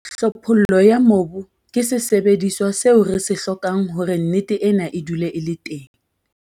Tlhophollo ya mobu ke sesebediswa seo re se hlokang hore nnete ena e dule e le teng.